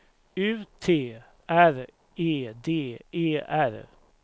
U T R E D E R